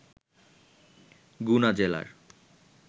গুনা জেলার